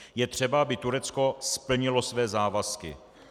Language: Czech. Je třeba, aby Turecko splnilo své závazky.